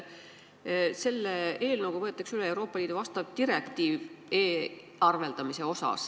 Selle eelnõuga võetakse üle Euroopa Liidu vastav direktiiv e-arveldamise kohta.